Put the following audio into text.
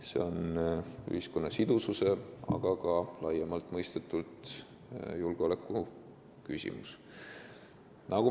See on ühiskonna sidususe, aga laiemalt mõistetult ka julgeolekuküsimus.